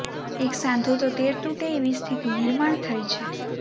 એક સાંધો તો તેર તૂટે એવી સ્થિતિ નિર્માણ થઇ છે